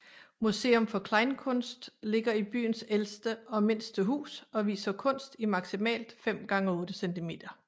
Museum for Kleinkunst ligger i byens ældste og mindste hus og viser kunst i maksimalt 5x8 cm